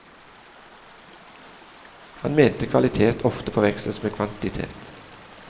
Han mente kvalitet ofte forveksles med kvantitet.